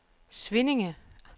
Svinninge